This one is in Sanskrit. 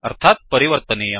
अर्थात् परिवर्तनीयम्